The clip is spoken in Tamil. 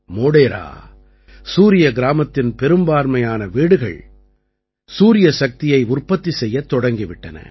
மோடேரா சூரிய கிராமத்தின் பெரும்பான்மையான வீடுகள் சூரியசக்தியை உற்பத்தி செய்யத் தொடங்கி விட்டன